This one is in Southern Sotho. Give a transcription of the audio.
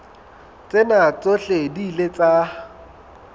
tsena tsohle di ile tsa